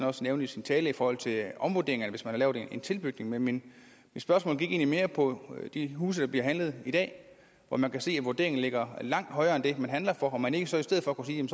også nævnte i sin tale i forhold til omvurderinger eller hvis man har lavet en tilbygning men mit spørgsmål gik egentlig mere på de huse der bliver handlet i dag hvor man kan se at vurderingen ligger langt højere end det man handler for om man ikke så i stedet kunne sige